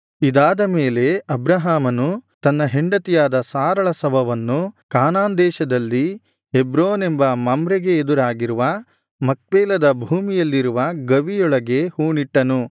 ಇದಾದ ಮೇಲೆ ಅಬ್ರಹಾಮನು ತನ್ನ ಹೆಂಡತಿಯಾದ ಸಾರಳ ಶವವನ್ನು ಕಾನಾನ್ ದೇಶದಲ್ಲಿ ಹೆಬ್ರೋನೆಂಬ ಮಮ್ರೆಗೆ ಎದುರಾಗಿರುವ ಮಕ್ಪೇಲದ ಭೂಮಿಯಲ್ಲಿರುವ ಗವಿಯೊಳಗೆ ಹೂಣಿಟ್ಟನು